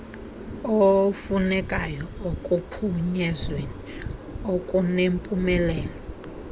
ofunekayo ekuphunyezweni okunempumelelo